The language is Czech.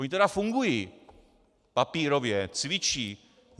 Ony tedy fungují - papírově, cvičí.